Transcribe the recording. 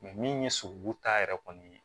min ye sogobu ta yɛrɛ kɔni ye